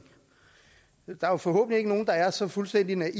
der er forhåbentlig ikke nogen der er så fuldstændig naive